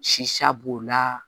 b'o la